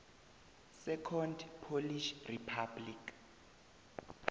second polish republic